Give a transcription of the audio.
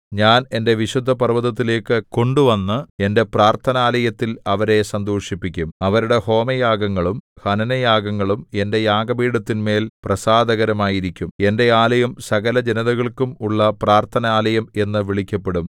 ഞാൻ എന്റെ വിശുദ്ധപർവ്വതത്തിലേക്കു കൊണ്ടുവന്ന് എന്റെ പ്രാർത്ഥനാലയത്തിൽ അവരെ സന്തോഷിപ്പിക്കും അവരുടെ ഹോമയാഗങ്ങളും ഹനനയാഗങ്ങളും എന്റെ യാഗപീഠത്തിന്മേൽ പ്രസാദകരമായിരിക്കും എന്റെ ആലയം സകലജനതകൾക്കും ഉള്ള പ്രാർത്ഥനാലയം എന്നു വിളിക്കപ്പെടും